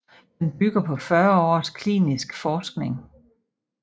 Den bygger på 40 års klinisk forskning